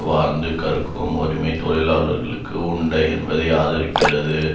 வாழ்ந்து கற்கும் உரிமை தொழிலாளர்களுக்கு உண்டு என்பதை ஆதரிக்கிறது